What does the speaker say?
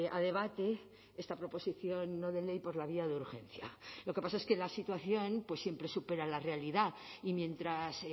a debate esta proposición no de ley por la vía de urgencia lo que pasa es que la situación pues siempre supera la realidad y mientras